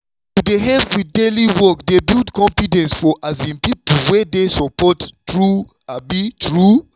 to dey help with daily work dey build confidence for um people wey dey support true um true.